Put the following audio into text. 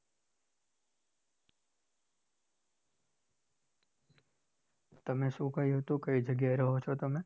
તમે શું કહ્યું તું કઈ જગ્યાએ રહો છો તમે?